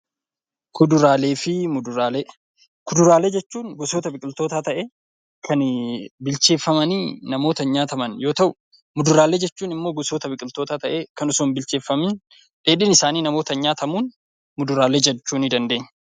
Kuduraalee fi muduraalee Kuduraalee jechuun gosoota biqiltoota ta'ee, kan bilcheeffamanii namootaan nyaataman yoo ta'u, muduraalee jechuun immoo gosoota biqiltoota ta'ee, kan osoo hin bilcheeffamiin dheedhiin isaanii namootaan nyaatamuun muduraalee jechuu ni dandeenya.